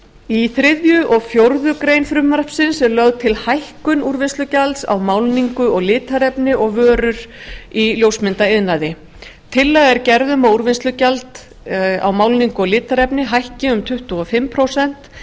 í þriðja og fjórðu grein frumvarpsins er lögð til hækkun úrvinnslugjalds á málningu og litarefni og vörur í ljósmyndaiðnaði tillaga er gerð um að úrvinnslugjald á málningu og litarefni hækki um tuttugu og fimm prósent